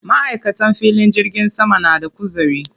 Maʼaikatan filin jirgin sama na da kuzari.